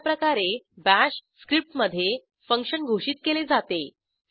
अशाप्रकारे बाश स्क्रिप्टमधे फंक्शन घोषित केले जाते